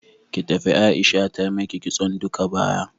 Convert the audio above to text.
Ki tafi Aisha ta maki kitson duka baya.